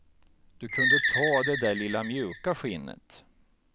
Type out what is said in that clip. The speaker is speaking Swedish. Du kunde ta det där lilla mjuka skinnet.